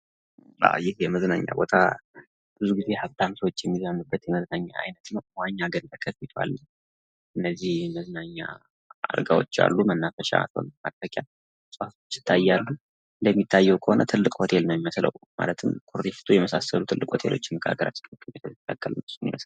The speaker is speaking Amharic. የመዝናኛ ቦታ ብዙ ጊዜ ሃብታም ሰዎች የሚዝናኑበት የመዝናኛ አይነት ነው። መዋኛ ገንዳ ከፊቱ አለ። የተለያዩ የመዝናኛ እቃወች አሉት። መናፈሻ ነው። እንደሚታየው ትልቅ ሆቴል ይመስላል።